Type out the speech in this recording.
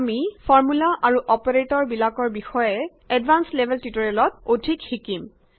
আমি ফৰ্মূলা আৰু অপাৰেটৰ বিলাকৰ বিষয়ে এডভান্সড লেভেল টিউটৰিয়্লেত অধিক শিকিম